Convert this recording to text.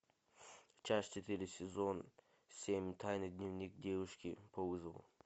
часть четыре сезон семь тайный дневник девушки по вызову